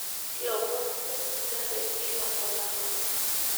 lomon le nkijape kila olapa